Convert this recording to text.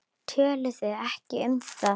Töluðu ekki um það.